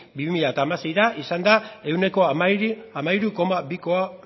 bi mila hamaseira izan da ehuneko hamairu koma